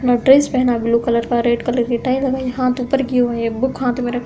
पहना blue colour का red colour की टाई लगाई है। हाथ ऊपर किये हुए हैं। एक बुक हाथ में रख --